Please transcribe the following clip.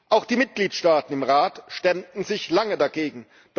Auch die Mitgliedstaaten im Rat stemmten sich lange dagegen.